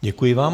Děkuji vám.